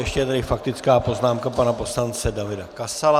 Ještě je tady faktická poznámka pana poslance Davida Kasala.